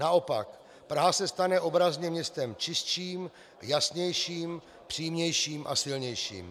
Naopak, Praha se stane obrazně městem čistším, jasnějším, přímějším a silnějším.